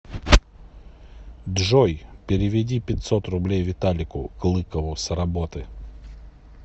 джой переведи пятьсот рублей виталику клыкову с работы